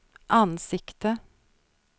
ansikte